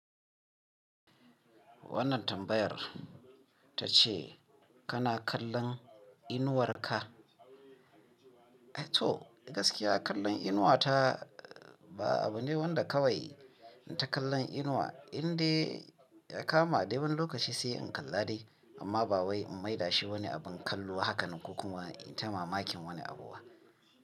Wannan tambayar ta ce kana kallon inuwar ka? To gaskiya kallon inuwa ta ba abu ne wanda kawai na ta kallon inuwa indai ya kama dai wani lokaci sai in kalla dai amma ba wai in maida shi wani abin kallo haka kuma ita mamakin wani abu ba.